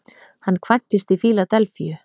Hann kvæntist í Fíladelfíu